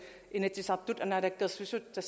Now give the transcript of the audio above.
inatsisartut og naalakkersuisut der